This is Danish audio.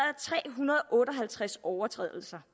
tre hundrede og otte og halvtreds overtrædelser